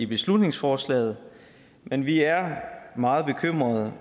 beslutningsforslaget men vi er meget bekymrede